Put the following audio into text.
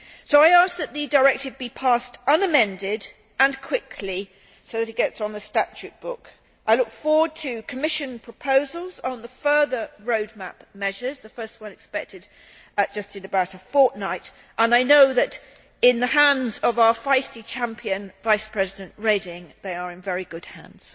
I ask that the directive be passed unamended and quickly so that it gets on the statute book. I look forward to Commission proposals on the further road map measures the first expected in about a fortnight and I know that in the hands of our feisty champion, Vice President Reding, they are in very good hands.